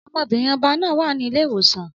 Ọmọbìnrin ọba náà wà ní ilé ìwòsàn